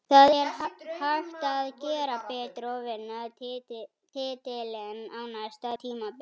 Það er hægt að gera betur og vinna titilinn á næsta tímabili.